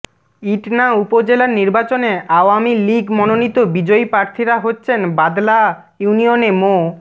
ইটনা উপজেলার নির্বাচনে আওয়ামী লীগ মনোনীত বিজয়ী প্রার্থীরা হচ্ছেন বাদলা ইউনিয়নে মো